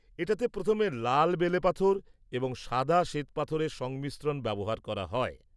-এটাতে প্রথম লাল বেলেপাথর এবং সাদা শ্বেতপাথরের সংমিশ্রণ ব্যবহার করা হয়।